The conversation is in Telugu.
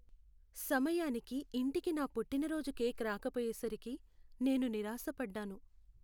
సమయానికి ఇంటికి నా పుట్టినరోజు కేక్ రాకపోయేసరికి నేను నిరాశపడ్డాను.